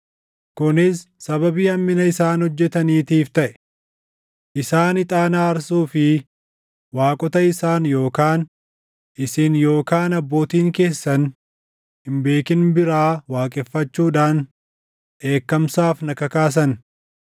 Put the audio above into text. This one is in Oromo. kunis sababii hammina isaan hojjetaniitiif taʼe. Isaan ixaana aarsuu fi waaqota isaan yookaan isin yookaan abbootiin keessan hin beekin biraa waaqeffachuudhaan dheekkamsaaf na kakaasan.